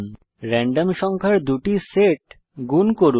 random সংখ্যার দুটি set গুণ করুন